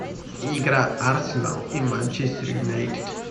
игра арсенал и манчестер юнайтед